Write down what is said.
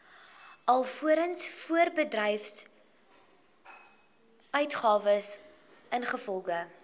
alvorens voorbedryfsuitgawes ingevolge